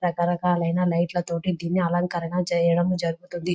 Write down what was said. రకరకాలయన లైట్లా తోని దీన్ని అలంకరణ చేయడం జరుగుతుంది.